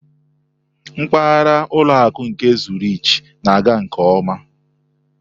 Mpaghara ụlọ akụ nke Zurich na-aga nke ọma.